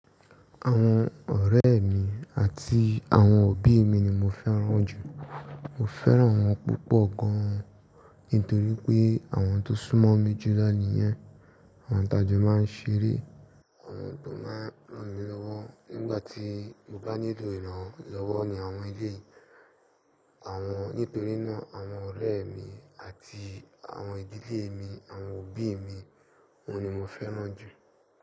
Àwọn ọ̀rẹ́ mi àti àwọn òbí mi ni mo fẹ́ràn jù. Mo fẹ́ràn wọ́n púpọ̀ gan an nítorí pé àwọn tó sún mọ́ mi jù lọ níyen. Àwọn tajo máa ń ṣeré, àwọn tó máa ń ranmi lọ́wọ́ nígbà tí mo bá nílò ìrànlọ́wọ́ ni àwọn eleyii àwọn nítorí náà àwọn ọ̀rẹ́ mi àti àwọn ìdílé mi, àwọn òbí mi awọ́n ni mo fẹ́ràn jù.